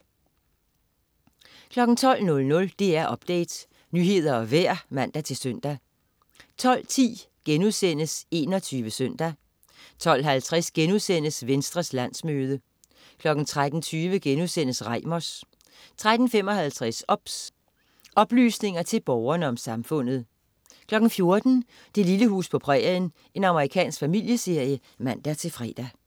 12.00 DR Update. Nyheder og vejr (man-søn) 12.10 21 Søndag* 12.50 Venstres landsmøde* 13.20 Reimers* 13.55 OBS. Oplysninger til Borgerne om Samfundet 14.00 Det lille hus på prærien. Amerikansk familieserie (man-fre)